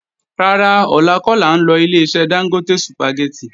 Rárá, ọ̀la kọ́ làá ń lọ Ileṣẹ́ Dángótè Sùpàgẹ́tì